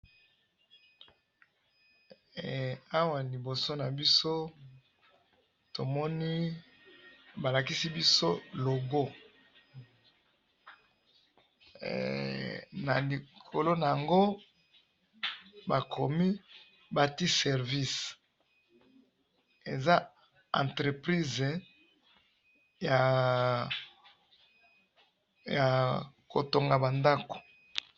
he awa liboso nabiso tomoni balakisi biso logo na likolo nango bakomi batiye service eza entreprise ya kotonga ba ndaku.